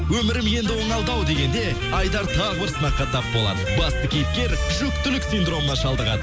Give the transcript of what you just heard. өмірім енді оңалды ау дегенде айдар тағы бір сынаққа тап болады басты кейіпкер жүкітілік синдромына шалдығады